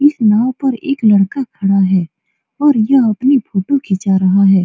इस नाव पर एक लड़का खड़ा है और यह अपनी फोटो खींचा रहा है।